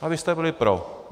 A vy jste byli pro.